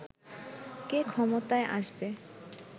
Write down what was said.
কে ক্ষমতায় আসবে